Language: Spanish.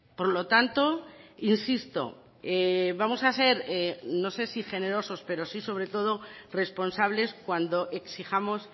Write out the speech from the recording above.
por lo tanto insisto vamos a ser no sé si generosos pero sí sobre todo responsables cuando exijamos